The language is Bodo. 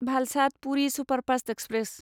Valsad Puri superfast express